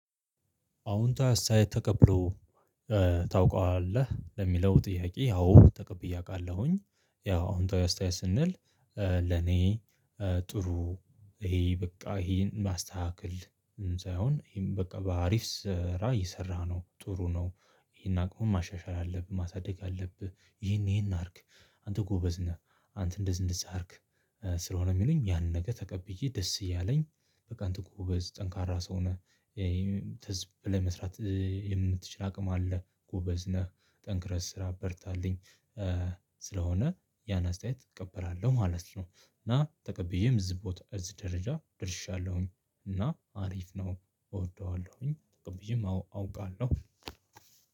አዉንታዊ አስተያየት ተቀብሎ ታውቀዋለህ? ለሚለው ጥያቄ አዎ ተቀብዬ አውቃለሁኝ ያው አዉንታዊ አስተያየት ስንል ለኔ ጥሩ ይሄ በቃ ይሄን ማስተካከል ሳይሆን ይሄም በቃ በአሪፍ ስራ እየሰራህ ነው ጥሩ ነው ይሄን አቅሙን ማሻሻል አለብህ ማሳደግ አለብህ ይሄን ይሄን አድርግ አንተ ጎበዝ ነህ አንተ እንደዝንዝ አድርግ ስለሆነ የሚሉኝ ያንን ነገ ተቀብዬ ደስ እያለኝ በቃ እንተኮ ጎበዝ ጠንካራ ሰው ነህ ለመስራት የምትችል አቅም አለ ጎበዝ ነህ ጠንክረህ ስራ በርታልኝ ስለሆነ ያን አስተያየት እቀበራለሁ ማለት ነው እና ተቀብዬም እዚህ ቦታ እዚህ ደረጃ ደርሻለሁኝ እና አሪፍ ነው እወደዋለሁኝ ተቀብያም አውቃለሁ።